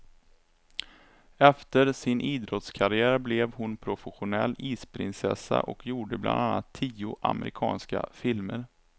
Efter sin idrottskarriär blev hon professionell isprinsessa och gjorde bland annat tio amerikanska filmer.